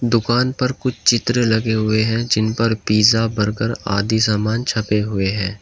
दुकान पर कुछ चित्र लगे हुए हैं जिन पर पिज्जा बर्गर आदि सामान छपे हुए हैं।